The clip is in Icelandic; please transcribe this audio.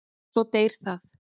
Svo deyr það.